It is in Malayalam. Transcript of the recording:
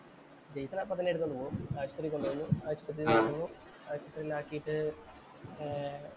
ജയ്സ്ണെ അപ്പൊ തന്നെ എടുത്തോണ്ട് പോവും. ആശുപത്രീ കൊണ്ട് പോന്നു. ആശുപത്രി കൊണ്ട് വന്നു. ആശുപത്രിയിലാക്കീട്ട് ഏർ